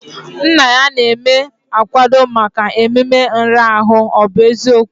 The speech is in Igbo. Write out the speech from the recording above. Nna ya na-eme akwado maka ememe nrara ahụ, ọ bụ eziokwu?